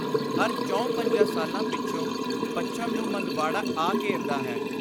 ਹਰ ਚਹੁੰ-ਪੰਜਾਂ ਸਾਲਾਂ ਪਿੱਛੋਂ ਪੱਛਮ ਨੂੰ ਮੰਦਵਾੜਾ ਆ ਘੇਰਦਾ ਹੈ।